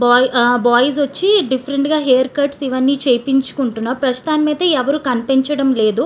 bye ah boys ఒచ్చి different గా hair cuts ఇవ్వని చేశపించుకుంటున్నారు ప్రస్తుతానికైతే ఎవరు కనిపించడం లేదు --